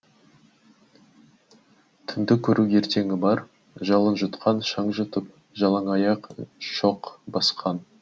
түнді көру ертеңі бар жалын жұтқан шаң жұтып жалаңаяқ шоқ басқан